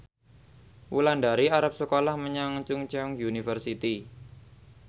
Wulandari arep sekolah menyang Chungceong University